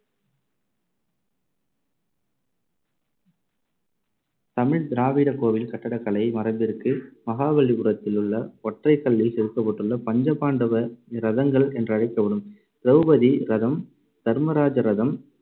தமிழ் திராவிட கோவில் கட்டடக் கலை மரபிற்கு மகாபலிபுரத்திலுள்ள ஒற்றைக் கல்லில் செதுக்கப்பட்டுள்ள பஞ்ச பாண்டவ ரதங்கள் என்றழைக்கப்படும் திரௌபதி ரதம், தர்மராஜா ரதம்,